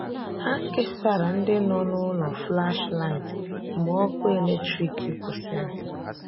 Hà kesàrà̀ ndị nọ n’ụlọ̀ flashlight mgbe ọkụ̀ eletrik kwụsịrị̀.